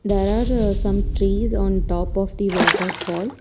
There are some trees on top of the waterfall.